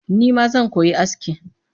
Nima zan koyi aski